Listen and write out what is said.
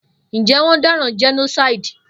Njé won dáràn genocide?